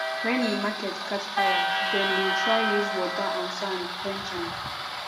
wen di market catch fire dem bin try use water and sand quench am